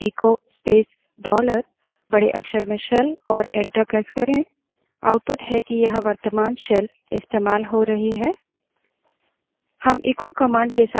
prompt पर बड़े अक्षर में echo space dollar shell type करें और enter दबायें